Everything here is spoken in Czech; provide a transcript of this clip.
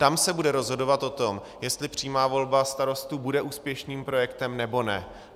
Tam se bude rozhodovat o tom, jestli přímá volba starostů bude úspěšným projektem, nebo ne.